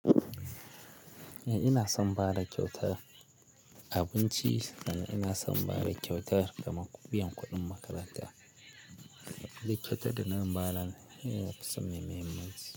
Eh ina son bada kyautar abinci sannan ina son bada kyautar kaman biyan kuɗin makaranta duk kyautan da nan ba nan eh so mai muhimmanci.